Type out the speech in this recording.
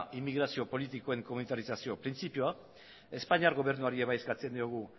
inmigrazio politikoen komunitarizazio printzipioa espainiar gobernuari ere eskatzen diogu